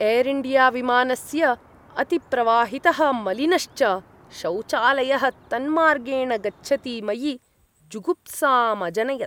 Air India विमानस्य अतिप्रवाहितः मलिनश्च शौचालयः तन्मार्गेण गच्छति मयि जुगुप्सामजनयत्।